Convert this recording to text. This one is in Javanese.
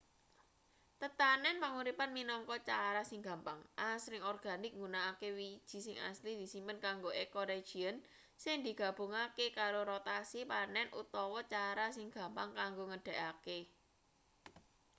tetanen panguripan minangka cara sing gampang asring organik nggunakake wiji sing asli disimpen kanggo ecoregion sing digabungake karo rotasi panen utawa cara sing gampang kanggo nggedhekake